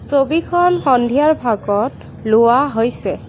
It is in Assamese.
ছবিখন সন্ধিয়াৰ ভাগত লোৱা হৈছে।